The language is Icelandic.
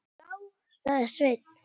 Já, sagði Sveinn.